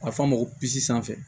A bɛ fɔ a ma ko bis sanfɛ